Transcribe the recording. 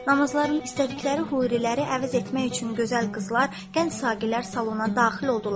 Namazlarını istədikləri huriləri əvəz etmək üçün gözəl qızlar, gənc saqilər salona daxil oldular.